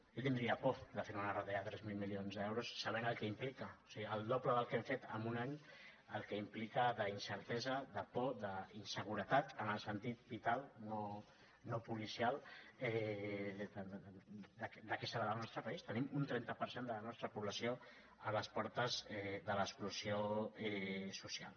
jo tindria por de fer unes retallades de tres mil milions d’euros sabent el que implica o sigui el doble del que hem fet en un any el que implica d’incertesa de por d’inseguretat en el sentit vital no policial de què serà del nostre país tenim un trenta per cent de la nostra població a les portes de l’exclusió social